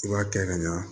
I b'a kɛ ka ɲa